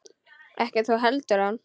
Ekki þú heldur hann.